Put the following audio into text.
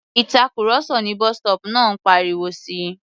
Ìtàkurọ̀sọ ní bus-stop náà ń pariwo si.